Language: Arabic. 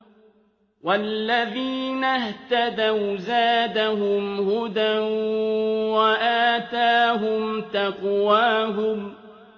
وَالَّذِينَ اهْتَدَوْا زَادَهُمْ هُدًى وَآتَاهُمْ تَقْوَاهُمْ